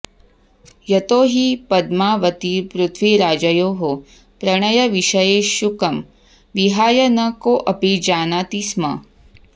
यतो हि पद्मावतीपृथ्वीराजयोः प्रणयविषये शुकं विहाय न कोऽपि जानाति स्म